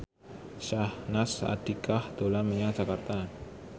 Syahnaz Sadiqah dolan menyang Jakarta